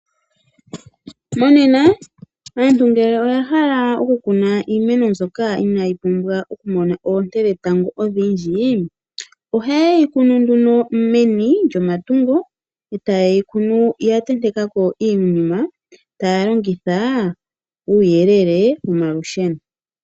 Monena ngele aantu oyahala oku kuna iimeno ndyoka inaayi pumbwa okumona oonte dhetango ondhindji ohayeyi kunu meni lyomatungo, ohayeyi kunu yantentekako iinima taya longitha uuyelele womalusheno